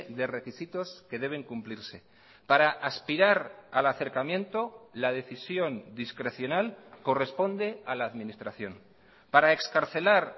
de requisitos que deben cumplirse para aspirar al acercamiento la decisión discrecional corresponde a la administración para excarcelar